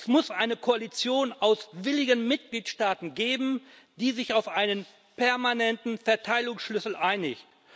Es muss eine Koalition aus willigen Mitgliedstaaten geben, die sich auf einen permanenten Verteilungsschlüssel einigt.